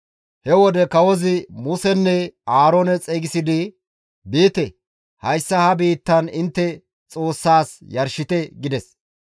He wode kawozi Musenne Aaroone xeygisidi, «Biite; hayssa ha biittan intte Xoossaas yarshite» gides.